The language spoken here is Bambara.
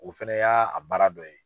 O fana y'a baara dɔ ye.